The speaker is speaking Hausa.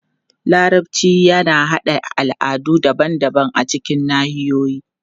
Larabci yana haɗa al'adu daban-daban a cikin nahiyoyi.